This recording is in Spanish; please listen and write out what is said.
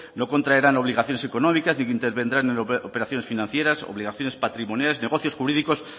no contraerán obligaciones económicas ni intervendrán en operaciones financieras ni obligaciones patrimoniales negocios jurídicos